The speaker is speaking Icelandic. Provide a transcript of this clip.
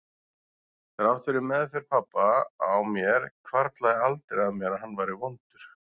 Þrátt fyrir meðferð pabba á mér hvarflaði aldrei að mér að hann væri vondur.